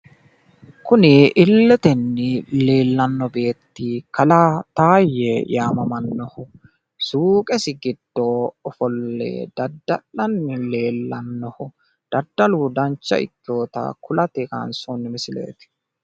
kuni illetenni leelanno beetti kalaa taayye yaammamannohu suuqesi giddo ofolle dadda'lanni leellannoho ,daddaludanca ikkewota gede kulate kaaynsoonni misileeti.